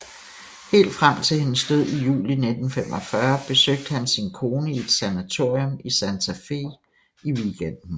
Helt frem til hendes død i juli 1945 besøgte han sin kone i et sanatorium i Santa Fe i weekenden